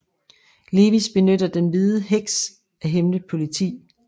Lewis benytter den hvide heks et hemmeligt politi